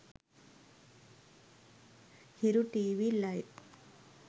hiru tv live